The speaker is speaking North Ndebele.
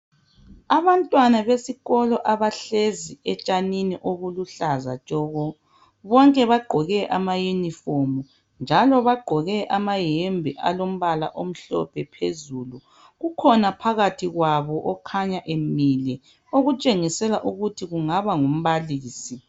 Abantwana besikolo abahlezi etshanini obuluhlaza tshoko. Bonke bagqoke amayunifomu njalo bagqoke amayembe alombala omhlophe phezulu. Kukhona phakathi kwabo okhanya emile okutshengisela ukuthi kungaba ngumbalisi.